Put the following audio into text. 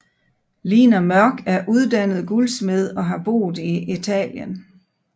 Lina Mørk er uddannet guldsmed og har boet i Italien